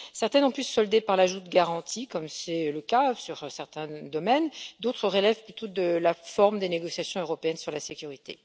Certaines ont pu se solder par l'ajout de garanties, comme c'est le cas sur certains domaines, d'autres relèvent plutôt de la forme des négociations européennes sur la sécurité.